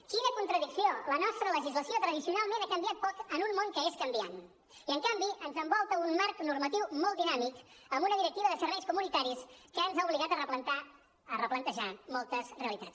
quina contradicció la nostra legislació tradicionalment ha canviat poc en un món que és canviant i en canvi ens envolta un marc normatiu molt dinàmic amb una directiva de serveis comunitaris que ens ha obligat a replantejar moltes realitats